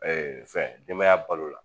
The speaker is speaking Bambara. fɛn denbaya balo la.